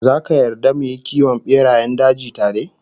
Zaka yarda mu yi kiwon berayen daji tare?